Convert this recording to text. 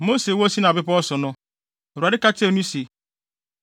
Mose wɔ Sinai Bepɔw so no, Awurade ka kyerɛɛ no se,